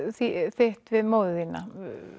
þitt við móður þína